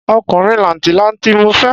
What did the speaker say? Ọkùnrin làǹtì-lanti ni mo fẹ́